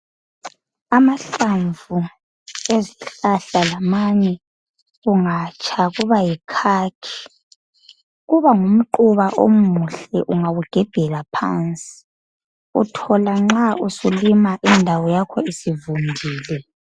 Amahlamvu ezihlahla lamanye kungatsha kuba yikhakhi kuba ngumquba omuhle ungawugebhela phansi Uthola nxa usulima indawo yakho isivudile